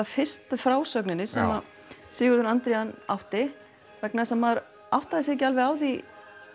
fyrstu frásögninni sem að Sigurður átti vegna þess að maður áttaði sig ekki alveg á því